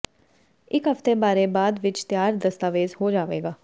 ਇੱਕ ਹਫ਼ਤੇ ਬਾਰੇ ਬਾਅਦ ਵਿਚ ਤਿਆਰ ਦਸਤਾਵੇਜ਼ ਹੋ ਜਾਵੇਗਾ